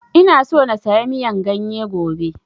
Ina so na saya miyan ganye gobe